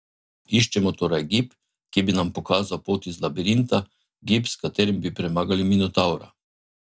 Iščemo torej gib, ki bi nam pokazal pot iz labirinta, gib, s katerim bi premagali Minotavra.